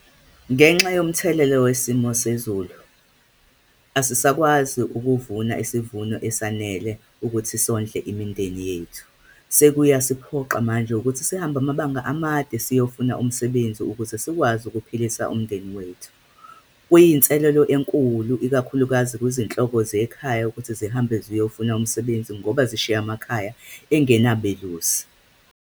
Ngenxa yomthelela wesimo sezulu, asisakwazi ukuvuna isivuno esanele ukuthi sondle imindeni yethu. Sekuyakusiphoqa manje ukuthi sihambe amabanga amade, siyofuna umsebenzi, ukuze sikwazi ukuphilisa umndeni wethu. Kuyinselelo enkulu, ikakhulukazi kuzinhloko zekhaya ukuthi zihambe ziyofuna umsebenzi, ngoba sishiya amakhaya engenabelusi.